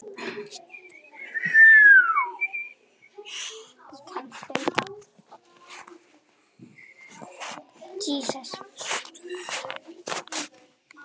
Næstu vikur voru erfiðar.